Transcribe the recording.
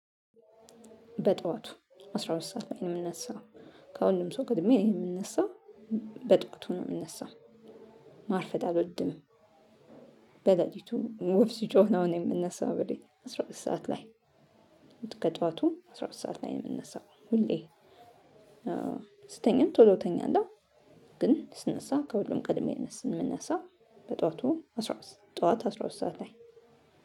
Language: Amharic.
በጥዋቱ አስራ ሁለት ሰዓት ላይ ነው የምነሳው ከሁሉም ሰው ቀድሜ ነው የምነሳው። በጥዋቱ ነው የምነሳው። ማርፈድ አልወድም። በሌሊቱ ወፍ ሲጮህ ነው እኔ የምነሳው እንግዲህ አስራ ሁለት ሰዓት ላይ። ከጧቱ አስራ ሁለት ሰዓት ላይ የምነሳው ሁሌ። ስተኛም ቶሎ እተኛለው። ግን ስነሳ ከሁሉም ቀድሜ የምነሳ በጧቱ አስራ ሁለት ጧት አስራ ሁለት ሰዓት ላይ